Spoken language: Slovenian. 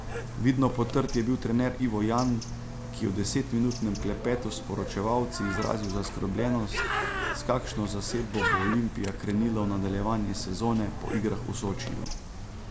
Vidno potrt je bil trener Ivo Jan, ki je v desetminutnem klepetu s poročevalci izrazil zaskrbljenost, s kakšno zasedbo bo Olimpija krenila v nadaljevanje sezone po igrah v Sočiju.